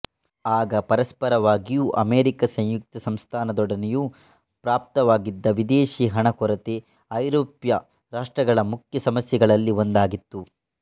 ಆಗ ಪರಸ್ಪರವಾಗಿಯೂ ಅಮೆರಿಕ ಸಂಯುಕ್ತ ಸಂಸ್ಥಾನದೊಡನೆಯೂ ಪ್ರಾಪ್ತವಾಗಿದ್ದ ವಿದೇಶೀ ಹಣ ಕೊರತೆ ಐರೋಪ್ಯ ರಾಷ್ಟ್ರಗಳ ಮುಖ್ಯ ಸಮಸ್ಯೆಗಳಲ್ಲಿ ಒಂದಾಗಿತ್ತು